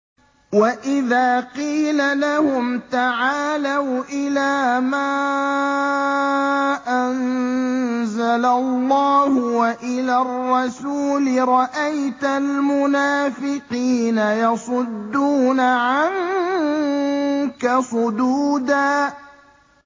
وَإِذَا قِيلَ لَهُمْ تَعَالَوْا إِلَىٰ مَا أَنزَلَ اللَّهُ وَإِلَى الرَّسُولِ رَأَيْتَ الْمُنَافِقِينَ يَصُدُّونَ عَنكَ صُدُودًا